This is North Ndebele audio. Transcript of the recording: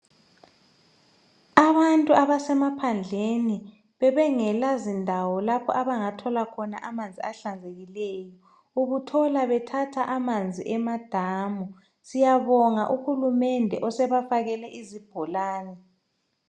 Abantu abasemaphandle bebengela zindawo lapho abangathola khona amanzi ahlanzekileyo ubuthola bethatha amanzi emadamu siyabonga uhulumende osebafakele izibholane